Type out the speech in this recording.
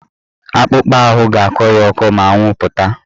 Akpụkpa ahụ ga-akọ ya ọkọ ma anwụ pụta.